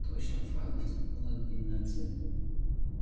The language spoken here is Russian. точно файлов тут была длинная цепь